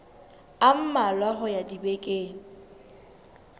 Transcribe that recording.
a mmalwa ho ya dibekeng